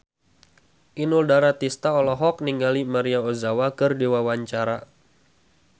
Inul Daratista olohok ningali Maria Ozawa keur diwawancara